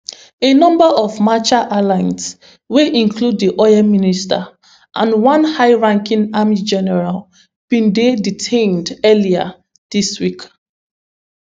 a number of machar allies wey include di oil minister and one highranking army general bin dey detained earlier dis week